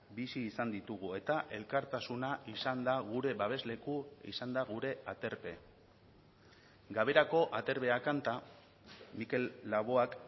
bizi izan ditugu eta elkartasuna izan da gure babesleku izan da gure aterpe gaberako aterbea kanta mikel laboak